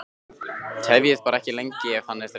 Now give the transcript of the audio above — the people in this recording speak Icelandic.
Tefjið bara ekki lengi ef hann er þreyttur